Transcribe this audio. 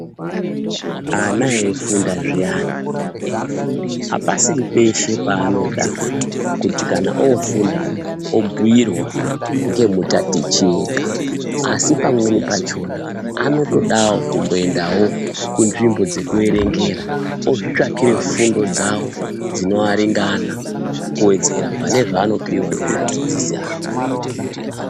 Ana eifunda zviyani, apasiri peshe panoda kuti kana ofunda obhuirwa ngemutatichi ega asi pamweni pachona anotodawo kumboendawo kunzvimbo dzekuverengera ozvitsvakira fundo dzavo dzinoaringana kuwedzera pane zvanopiwa ngemadzidzisi avo.